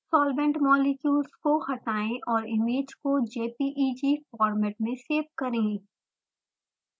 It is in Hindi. solvent molecules को हटायें और इमेज को jpeg फॉर्मेट में सेव करें